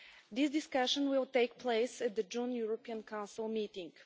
This discussion will take place at the June European Council meeting.